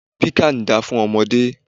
Piccan da fún ọmọdé.